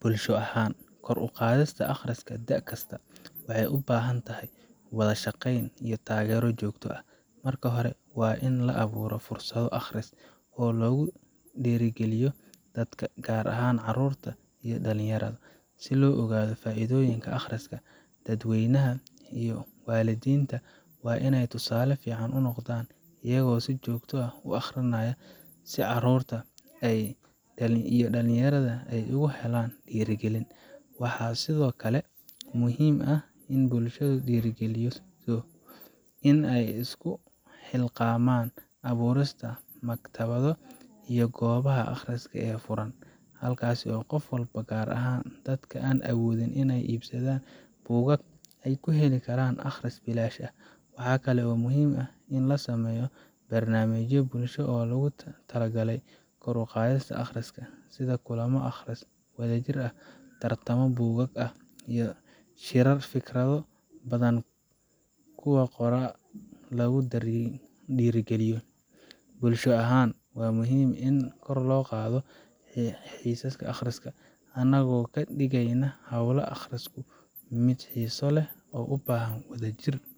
Bulsho ahaan, kor u qaadista akhriska da’ kasta waxay u baahan tahay wada shaqeyn iyo taageero joogto ah. Marka hore, waa in la abuuro fursado akhris oo lagu dhiirrigeliyo dadka, gaar ahaan carruurta iyo dhallinyarada, si loo ogaado faa’iidooyinka akhriska. Dadka waaweyn iyo waalidiinta waa in ay tusaale fiican u noqdaan, iyagoo si joogto ah u akhrinaya, si carruurta iyo dhalinyarada ay uga helaan dhiirrigelin. Waxaa sidoo kale muhiim ah in bulshada lagu dhiirrigeliyo in ay isku xilqaamaan abuurista maktabado iyo goobaha akhriska ee furan, halkaas oo qof walba, gaar ahaan dadka aan awoodin inay iibsadaan buugaag, ay ku heli karaan akhris bilaash ah. Waxaa kale oo muhiim ah in la sameeyo barnaamijyo bulsho oo loogu talagalay kor u qaadista akhriska sida kulamo akhris wadajir ah, tartamo buugaag ah, iyo shirar fikrado ka badan kuwa qoraaga lagu dhiirrigeliyo. Bulsho ahaan, waxaa muhiim ah in aan kor u qaadno xiisaha akhriska, anagoo ka dhiganaya hawlaha akhrisku mid xiiso leh oo u baahan in la wadaago.